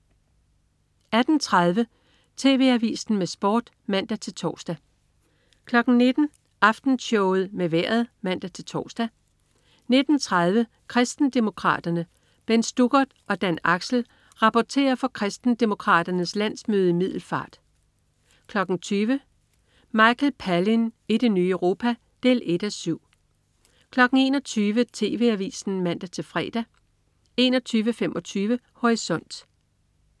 18.30 TV Avisen med Sport (man-tors) 19.00 Aftenshowet med Vejret (man-tors) 19.30 Kristendemokraterne. Bent Stuckert og Dan Axel rapporterer fra Kristendemokraternes landsmøde i Middelfart 20.00 Michael Palin i det nye Europa 1:7 21.00 TV Avisen (man-fre) 21.25 Horisont